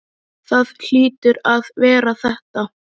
Það hlýtur að vera þetta.